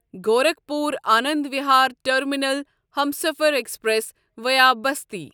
Gorakhpur Anand Vihar terminal Humsafar express via Basti